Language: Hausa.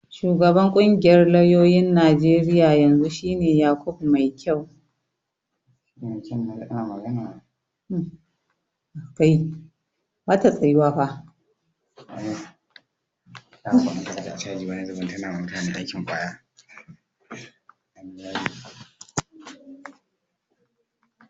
Shugaban ƙungiyar lauyoyin Najeriya na yanzu shi ne Yakubu Maikyau.